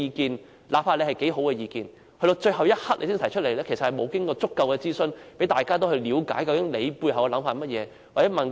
即使他的意見有多好，但到了最後一刻才提出，其實並無經過足夠諮詢，讓大家了解他背後的想法。